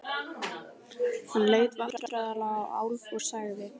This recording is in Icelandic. Hann leit vandræðalega á Álf og sagði